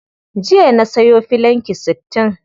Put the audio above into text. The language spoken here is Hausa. Jiya na sayo filanki sittin.